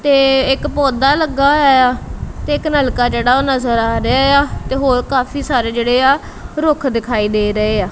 ਤੇ ਇੱਕ ਪੌਦਾ ਲੱਗਾ ਹੋਇਆ ਤੇ ਇੱਕ ਨਲਕਾ ਜਿਹੜਾ ਉਹ ਨਜ਼ਰ ਆ ਰਿਹਾ ਆ ਤੇ ਹੋਰ ਕਾਫੀ ਸਾਰੇ ਜਿਹੜੇ ਆ ਰੁੱਖ ਦਿਖਾਈ ਦੇ ਰਹੇ ਆ।